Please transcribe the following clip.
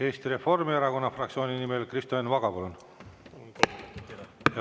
Eesti Reformierakonna fraktsiooni nimel Kristo Enn Vaga, palun!